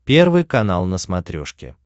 первый канал на смотрешке